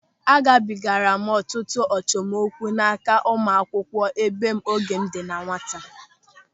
Agabigara m ọtụtụ achọmokwu n'aka ụmụakwụkwọ ebe m oge m dị na nwata.